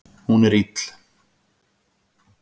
Hún er ill.